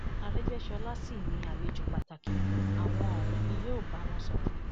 àrẹgbẹsọla sì ni àlejò pàtàkì àwọn òun ni yóò bá wọn sọrọ